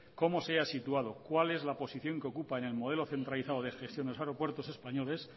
cómo se halla situado cuál es la posición que ocupa en el modelo centralizado de gestiones de aeropuerto españoles